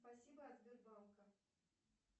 спасибо от сбербанка